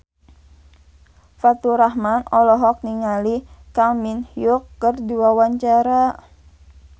Faturrahman olohok ningali Kang Min Hyuk keur diwawancara